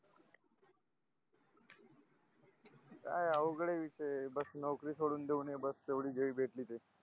काय अवघडे विकते बस नौकरी सोडून देऊ नये बस तेवढी जरी भेटली तर